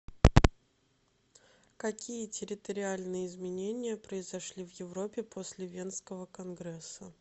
какие территориальные изменения произошли в европе после венского конгресса